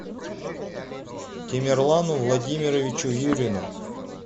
темирлану владимировичу юрину